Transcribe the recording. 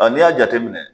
n'i y'a jateminɛ